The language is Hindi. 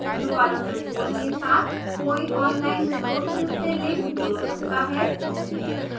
url resource के साथ कोई online resources से links जोड़ सकता है